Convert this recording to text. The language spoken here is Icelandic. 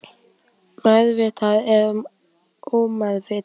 Meðvituð eða ómeðvituð.